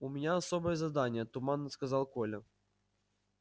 у меня особое задание туманно сказал коля